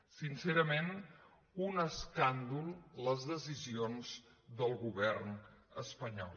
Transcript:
sin·cerament un escàndol les decisions del govern espa·nyol